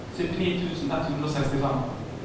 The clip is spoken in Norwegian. syttini tusen ett hundre og sekstifem